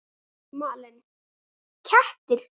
Malen: Kettir.